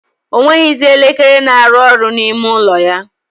O nweghizi elekere na-arụ ọrụ n' ime ụlọ ya.